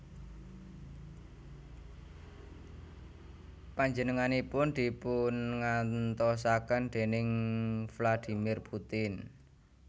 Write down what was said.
Panjenenganipun dipungantosaken déning Vladimir Putin